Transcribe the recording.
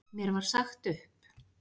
Mér var sagt upp.